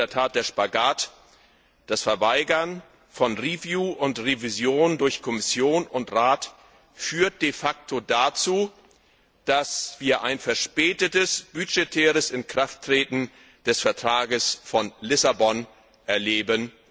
Hier liegt in der Tat der Spagat. Das Verweigern von Review und Revision durch Kommission und Rat würde de facto dazu führen, dass wir ein verspätetes budgetäres Inkrafttreten des Vertrags von Lissabon erleben.